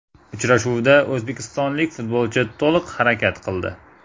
Uchrashuvda o‘zbekistonlik futbolchi to‘liq harakat qildi.